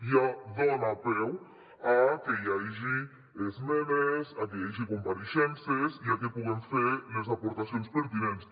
ja dona peu a que hi hagi esmenes a que hi hagi compareixences i a que puguem fer les aportacions pertinents